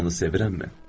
Onu sevirəmmi?